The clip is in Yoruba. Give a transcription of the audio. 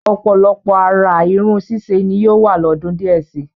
Ọ̀pọ̀lọpọ̀ àrà irun ṣíṣe ni yóò wà lọ́dún díẹ̀ si.